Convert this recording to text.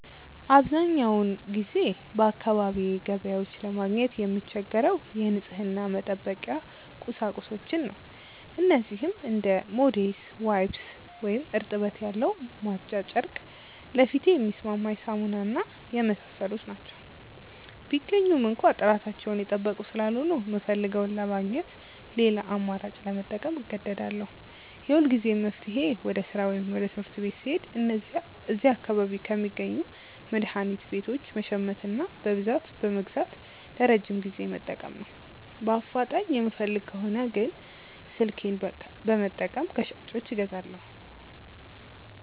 አብዛኛውን ጊዜ በአካባቢዬ ገበያዎች ለማግኘት የምቸገረው የንጽህና መጠበቂያ ቁሳቁሶችን ነው። እነዚህም እንደ ሞዴስ፣ ዋይፕስ (እርጥበት ያለው ማጽጃ ጨርቅ)፣ ለፊቴ የሚስማማኝ ሳሙና እና የመሳሰሉት ናቸው። ቢገኙም እንኳ ጥራታቸውን የጠበቁ ስላልሆኑ፣ የምፈልገውን ለማግኘት ሌላ አማራጭ ለመጠቀም እገደዳለሁ። የሁልጊዜም መፍትሄዬ ወደ ሥራ ወይም ትምህርት ቤት ስሄድ እዚያ አካባቢ ከሚገኙ መድኃኒት ቤቶች መሸመትና በብዛት በመግዛት ለረጅም ጊዜ መጠቀም ነው። በአፋጣኝ የምፈልግ ከሆነ ግን ስልኬን በመጠቀም ከሻጮች አዛለሁ።